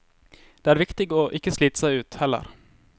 Det er viktig å ikke slite seg ut, heller.